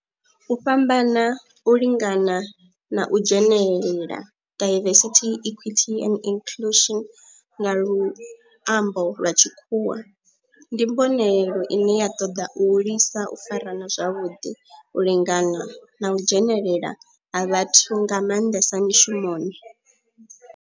U fhambana, u lingana na u dzhenelela, diversity, equity and inclusion nga luambo lwa tshikhuwa,, ndi mbonelelo ine ya toda u hulisa u farana zwavhudi, u lingana na u dzhenelela ha vhathu nga manḓesa mishumoni.